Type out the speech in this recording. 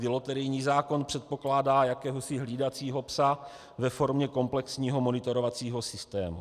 Loterijní zákon předpokládá jakéhosi hlídacího psa ve formě komplexního monitorovacího systému.